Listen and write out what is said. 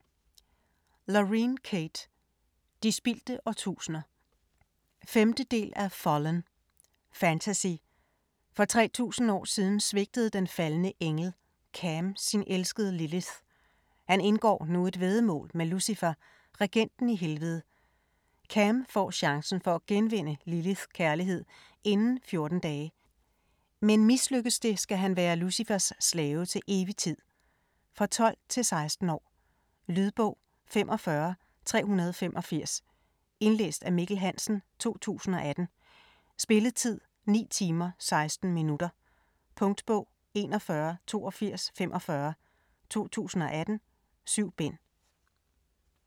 Kate, Lauren: De spildte årtusinder 5. del af Fallen. Fantasy. For 3000 år siden svigtede den faldne engel, Cam sin elskede Lilith. Han indgår nu et væddemål med Lucifer, regenten i Helvede. Cam får chancen for at genvinde Liliths kærlighed inden 14 dage. men mislykkes det, skal han være Lucifers slave til evig tid. For 12-16 år. Lydbog 45385 Indlæst af Mikkel Hansen, 2018. Spilletid: 9 timer, 16 minutter. Punktbog 418245 2018. 7 bind.